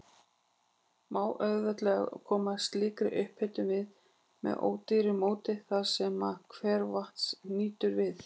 Má auðveldlega koma slíkri upphitun við með ódýru móti þar, sem hveravatns nýtur við.